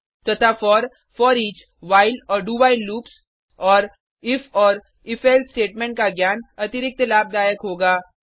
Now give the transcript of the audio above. तथा for foreach while और do while loops और इफ और if एल्से स्टेटमेंट का ज्ञान अतिरिक्त लाभदायक होगा